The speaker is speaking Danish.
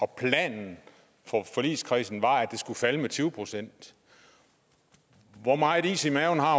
planen for forligskredsen var at det skulle falde med tyve procent hvor meget is i maven har